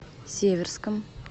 северском